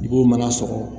I b'o mana sɔgɔ